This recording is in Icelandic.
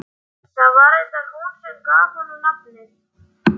Það var reyndar hún sem gaf honum nafnið.